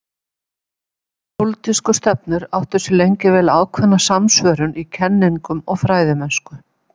Þessar pólitísku stefnur áttu sér lengi vel ákveðna samsvörun í kenningum og fræðimennsku.